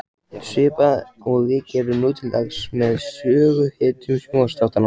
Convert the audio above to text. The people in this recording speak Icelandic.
Svipað og við gerum nú til dags með söguhetjum sjónvarpsþáttanna.